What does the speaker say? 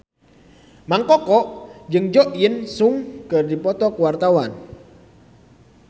Mang Koko jeung Jo In Sung keur dipoto ku wartawan